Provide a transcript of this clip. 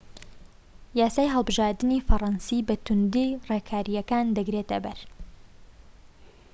یاسای هەڵبژاردنی فەرەنسی بە توندی ڕێکاریەکان دەگرێتە بەر